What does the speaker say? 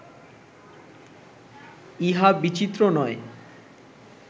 ইহা বিচিত্র নয়